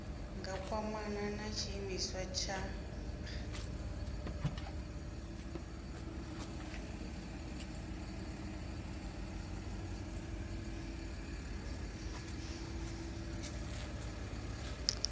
nga kwamana na tshiimiswa tsha